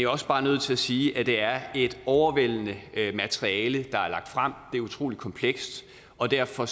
også bare nødt til at sige at det er et overvældende materiale der er lagt frem det er utrolig komplekst og derfor